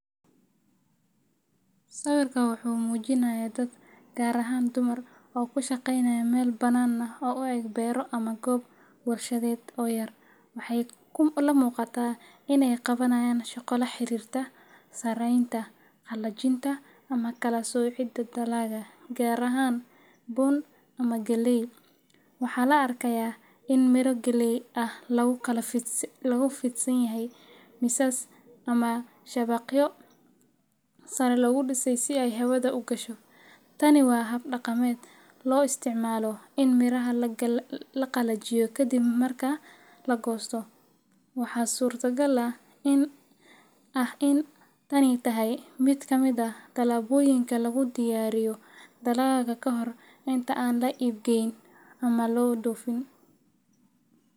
Sawirka wuxuu muujinayaa dad, gaar ahaan dumar, oo ku shaqaynaya meel banaan oo u eg beero ama goob warshadeed oo yar. Waxay la muuqataa in ay qabanayaan shaqo la xiriirta sarreynta, qalajinta ama kala-soocidda dalagga, gaar ahaan bun ama galley. Waxaa la arkayaa in miro jaalle ah lagu kala fidsan yahay miisas ama shabaqyo sare loo dhisay si ay hawada u gasho – tani waa hab dhaqameed loo isticmaalo in miraha la qalajiyo kadib marka la goosto. Waxaa suurtagal ah in tani tahay mid ka mid ah tallaabooyinka lagu diyaariyo dalagga ka hor inta aan la iibgeyn ama loo dhoofin.